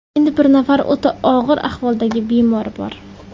Endi bir nafar o‘ta og‘ir ahvoldagi bemor bor.